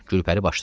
Gülpəri başladı.